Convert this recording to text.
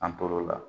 An tor'o la